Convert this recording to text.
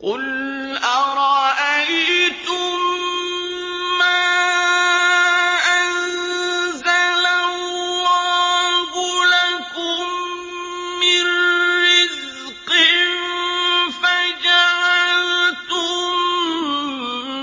قُلْ أَرَأَيْتُم مَّا أَنزَلَ اللَّهُ لَكُم مِّن رِّزْقٍ فَجَعَلْتُم